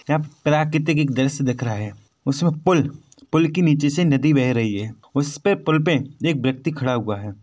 यहाँ प्राकृतिक एक दृश्य दिख रहा है उसमें पुल पुल के नीचे से नदी बह रही है उसपे पुल पे एक व्यक्ति खड़ा हुआ है।